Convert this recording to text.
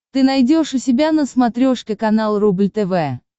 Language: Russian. ты найдешь у себя на смотрешке канал рубль тв